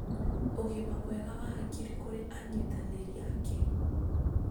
ũgima mwega wa hakiri kũrĩ anyitanĩri ake.